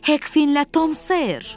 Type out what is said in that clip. Hek Fin ilə Tom Ser.